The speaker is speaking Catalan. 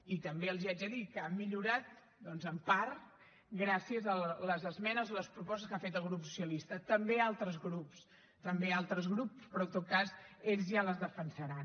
i també els haig de dir que ha millorat doncs en part gràcies a les esmenes o les propostes que ha fet el grup socialista també altres grups també altres grups però en tot cas ells ja les defensaran